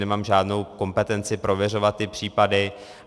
Nemám žádnou kompetenci prověřovat ty případy.